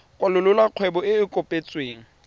kwalolola kgwebo e e kopetsweng